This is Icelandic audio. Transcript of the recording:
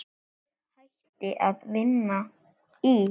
Ég hætti að vinna í